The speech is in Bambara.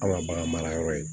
An ma bagan mara yɔrɔ ye